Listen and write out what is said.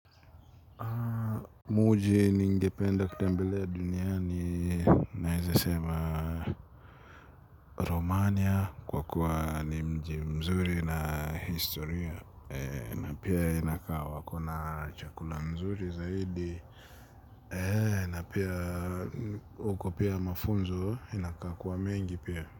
Mji ningependa kutembelea duniani naezasema Romania kwa kuwa ni mji mzuri na historia. Na pia inakaa wako na chakula mzuri zaidi. Na pia huko pia mafunzo inakaa kuwa mengi pia.